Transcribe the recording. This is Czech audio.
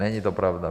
Není to pravda.